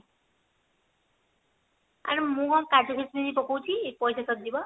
ଆରେ ମୁଁ କଣ କାଜୁ କିସମିସ ପକୋଊଛି ପଇସା ସରିଯିବ